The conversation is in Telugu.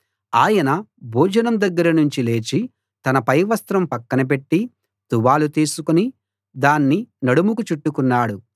ఆయన భోజనం దగ్గర నుంచి లేచి తన పైవస్త్రం పక్కన పెట్టి తువాలు తీసుకుని దాన్ని నడుముకు చుట్టుకున్నాడు